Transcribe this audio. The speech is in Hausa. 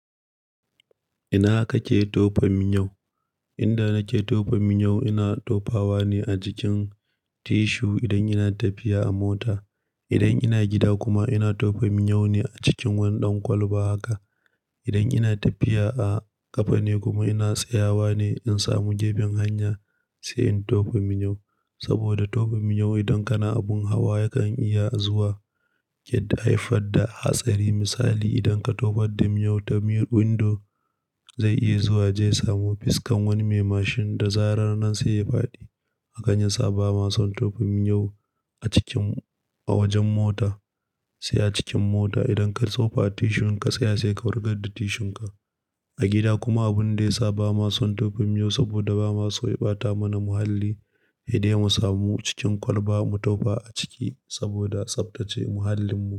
Ina haka ke tofa miyau? Inda nake tofa miyau, ina tofawa ne a jikin tissue idan ina tafiya a mota. Idan ina gida kuma ina tofa miyau ne a cikin wani ɗan kwalba haka. Idan ina tafiya a ƙafa ne kuma ina tsayawa ne in samu gefen hanya sai in tofa miyau. Saboda tofa miyau idan kana abun hawa yakan iya zuwa ya haifar da hatsari. Misali idan ka tofar da miyau ta mir-- window, zai iya zuwa ya samu fuskan wani mai mashin da zarar nan sai ya faɗi. Hakan ya sa ba ma son tofa miyau a cikin-- a wajen mota sai a cikin mota idan ka tofa tissue ka tsaya sai ka wurgar da tissue ka. A gida kuma abun da yasa ba ma son tofa miyau saboda ba ma so ya ɓata mana muhalli. Sedai mu samu cikin kwalba mu tofa a ciki saboda tsaftace muhallin mu.